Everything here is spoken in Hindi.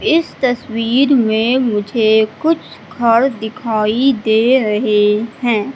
इस तस्वीर में मुझे कुछ घर दिखाई दे रहे है।